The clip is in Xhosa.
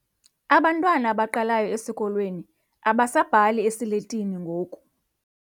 Abantwana abaqalayo esikolweni abasabhali esiletini ngoku.